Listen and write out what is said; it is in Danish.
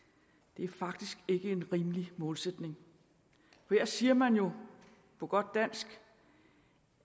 det er faktisk ikke en rimelig målsætning her siger man jo på godt dansk